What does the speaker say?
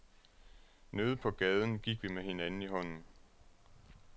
Nede på gaden gik vi med hinanden i hånden.